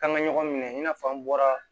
K'an ka ɲɔgɔn minɛ i n'a fɔ an bɔra